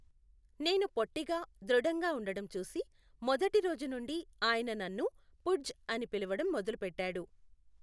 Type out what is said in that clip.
నేను పొట్టిగా, దృఢంగా ఉండడం చూసి, మొదటి రోజు నుండి, ఆయన నన్ను పుడ్జ్ అని పిలవడం మొదలుపెట్టాడు.